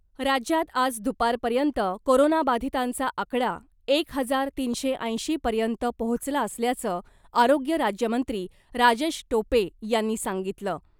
राज्यात आज दुपारपर्यंत कोरोनाबाधितांचा आकडा एक हजार तीनशे ऐंशी पर्यंत पोहोचला असल्याचं आरोग्य राज्यमंत्री राजेश टोपे यांनी सांगितलं .